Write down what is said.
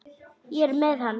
Ég er með hann.